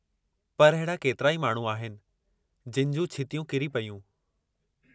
पर अहिड़ा केतिराई माण्हू आहिनि जिनि जूं छितियूं किरी पयूं।